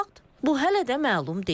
Bu hələ də məlum deyil.